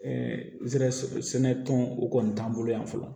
zɛrɛ sɛnɛ tɔn o kɔni t'an bolo yan fɔlɔ